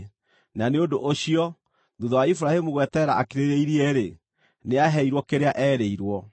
Na nĩ ũndũ ũcio, thuutha wa Iburahĩmu gweterera akirĩrĩirie-rĩ, nĩaheirwo kĩrĩa eerĩirwo.